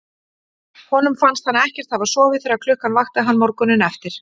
Honum fannst hann ekkert hafa sofið þegar klukkan vakti hann morguninn eftir.